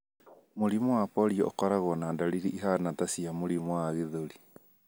Mĩrimũ ya polio ũkoragwo na ndariri ihana ta cia mũrimũ wa gĩthũri.